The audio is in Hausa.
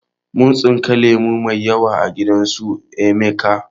Mun tsinka lemo mai yawa a gidan su emeka